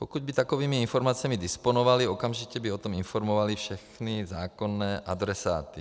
Pokud by takovými informacemi disponovali, okamžitě by o tom informovali všechny zákonné adresáty.